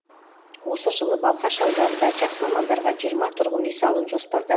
осы жылы балқаш ауданында жас мамандарға жиырма тұрғын үй салу жоспарда бар